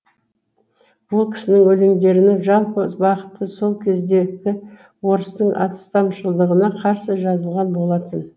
ол кісінің өлеңдерінің жалпы бағыты сол кездегі орыстың астамшылдығына қарсы жазылған болатын